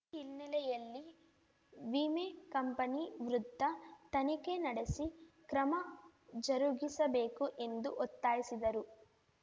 ಹಿನ್ನೆಲೆಯಲ್ಲಿ ವಿಮೆ ಕಂಪನಿ ವೃದ್ಧ ತನಿಖೆ ನಡೆಸಿ ಕ್ರಮ ಜರುಗಿಸಬೇಕು ಎಂದು ಒತ್ತಾಯಿಸಿದರು